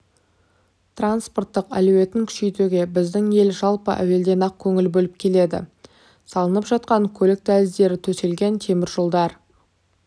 транспорттық әлеуетін күшейтуге біздің ел жалпы әуелден-ақ көңіл бөліп келеді салынып жатқан көлік дәліздері төселген теміржолдар